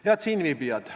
Head siinviibijad!